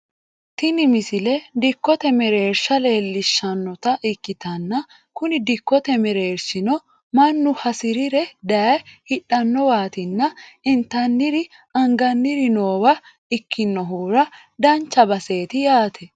tini misile dikkote mereersha leellishshannota ikkitanna kuni dikkote mereershino mannu hasirire daye hidhannowaatina intanniri anganniri noowa ikkinohura dancha baseeti yaate